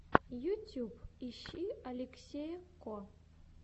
ютьюб ищи алексея ко